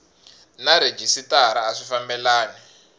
na rhejisitara a swi fambelani